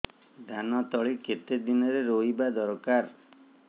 ଧାନ ତଳି କେତେ ଦିନରେ ରୋଈବା ଦରକାର